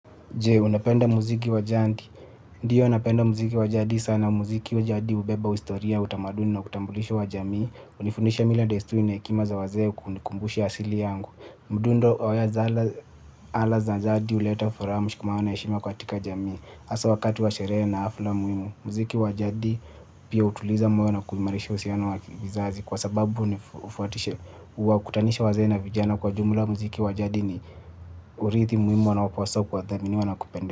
Je, unapenda muziki wa jadi? Ndiyo, napenda muziki wa jadi sana. Muziki wa jadi hubeba historia, utamaduni na utambulisho wa jamii. Hunifundisha mila desturi na hekima za wazee, kunikumbusha asili yangu. Mdundo wa ala za jadi huleta furaha, mshikamano na heshima katika jamii hasa wakati wa sherehe na halfa muhimu, muziki wa jadi pia hutuliza moyo na kuimarisha uhusiano wa vizazi. Kwa sababu huwakutanisha wazee na vijana kwa jumla, muziki wa jadi ni urithi muhimu wanaopaswa kuwa dhamini na kupenda.